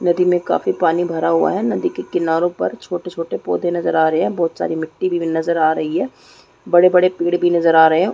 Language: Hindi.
नदी में काफी पानी भरा हुआ है नदी के किनारो पर छोटे छोटे पौधे नज़र आ रहे है बहोत सारी मिट्टी भी नज़र आ रही है बड़े बड़े पेड़ भी नज़र आ रहे है।